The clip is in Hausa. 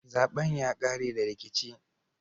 Zaben ya kare da rikici.